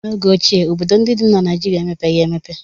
N'oge ochie, obodo ndị dị na Naịjirịa emepeghị emepe.